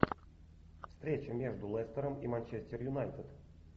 встреча между лестером и манчестер юнайтед